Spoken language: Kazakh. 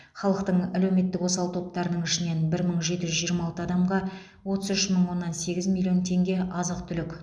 халықтың әлеуметтік осал топтарының ішінен бір мың жеті жүз жиырма алты адамға отыз үш мың оннан сегіз миллион теңге азық түлік